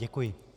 Děkuji.